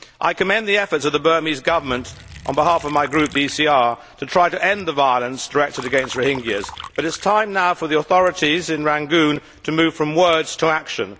I commend the efforts of the Burmese Government on behalf of my Group, the ECR, to try to end the violence directed against Rohingyas, but it is time now for the authorities in Rangoon to move from words to action.